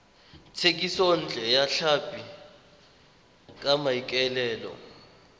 thekisontle ya tlhapi ka maikaelelo